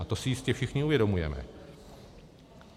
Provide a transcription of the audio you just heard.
A to si jistě všichni uvědomujeme.